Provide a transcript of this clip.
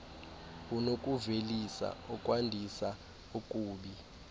unokuvelisa okwandisa okubi